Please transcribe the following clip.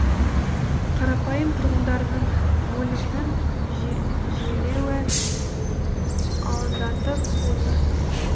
қарапайым тұрғындарының өлімінің жиілеуі алаңдатып отыр